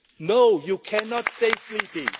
No you cannot stay sleeping.